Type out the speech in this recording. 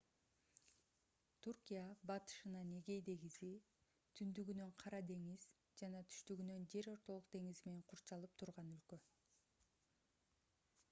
түркия батышынан эгей деңизи түндүгүнөн кара деңиз жана түштүгүнөн жер ортолук деңизи менен курчалып турган өлкө